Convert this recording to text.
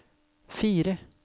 fire